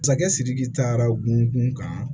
Masakɛ sidiki taara gun ka